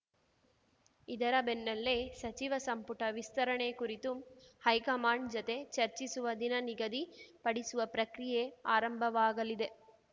ಇದರ ಬೆನ್ನಲ್ಲೇ ಸಚಿವ ಸಂಪುಟ ವಿಸ್ತರಣೆ ಕುರಿತು ಹೈಕಮಾಂಡ್‌ ಜತೆ ಚರ್ಚಿಸುವ ದಿನ ನಿಗದಿ ಪಡಿಸುವ ಪ್ರಕ್ರಿಯೆ ಆರಂಭವಾಗಲಿದೆ